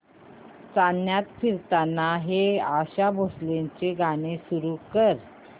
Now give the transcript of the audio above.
चांदण्यात फिरताना हे आशा भोसलेंचे गाणे सुरू कर